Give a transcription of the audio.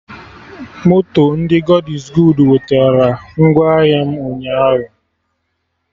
Moto ndị God iz goodu wetera ngwa ahịa m ụnyaahụ